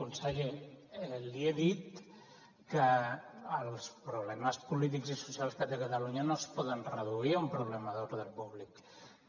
conseller li he dit que els problemes polítics i socials que té catalunya no es poden reduir a un problema d’ordre públic